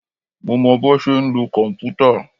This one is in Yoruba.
Mo mọ bọ́ ṣe ń lo kòmpútà.